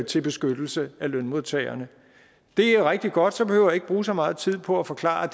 til beskyttelse af lønmodtagerne det er rigtig godt så behøver jeg ikke bruge så meget tid på at forklare